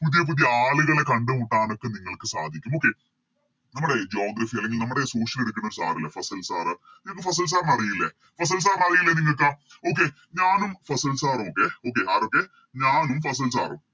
പുതിയ പുതിയ ആളുകളെ കണ്ടുമുട്ടനൊക്കെ നിങ്ങൾക്ക് സാധിക്കും Okay നമ്മുടെ ഈ Geography അല്ലെങ്കിൽ നമ്മുടെ Social എടുക്കുന്ന Sir ഇല്ലേ ഫസിൽ Sir നിങ്ങക്ക് ഫസിൽ Sir നെ അറിയില്ലേ ഫസിൽ Sir നെ അറിയില്ലേ നിങ്ങക്ക് Okay ഞാനും ഫസിൽ Sir ഉം ഒക്കെ ആരൊക്കെ ഞാനും ഫസിൽ Sir ഉം